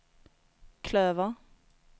klöver